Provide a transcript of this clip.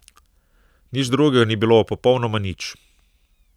Nič drugega ni bilo, popolnoma nič.